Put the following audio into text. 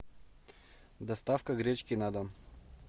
доставка гречки на дом